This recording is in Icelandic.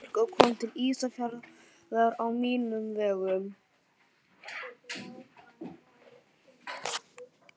Þessi stúlka kom til Ísafjarðar á mínum vegum.